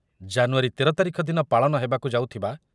ଜାନୁୟାରୀ ତେର ତାରିଖ ଦିନ ପାଳନ ହେବାକୁ ଯାଉଥିବା